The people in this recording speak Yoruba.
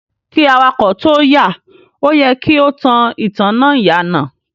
Kí awakọ̀ tóo yà, o yẹ kí o tan ìtanná ìyànà.